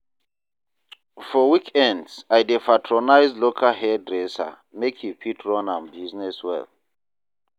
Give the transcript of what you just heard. For weekends, I dey patronize local hairdresser make e fit run im business well.